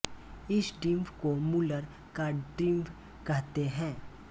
इस डिंभ को मुलर का डिंभ कहते हैं